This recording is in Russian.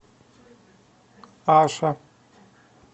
аша